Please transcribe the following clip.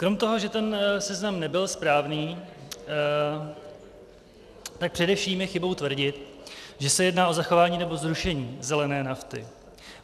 Krom toho, že ten seznam nebyl správný, tak především je chybou tvrdit, že se jedná o zachování nebo zrušení zelené nafty.